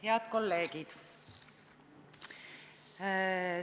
Head kolleegid!